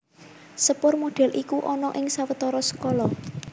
Sepur modèl iku ana ing sawetara skala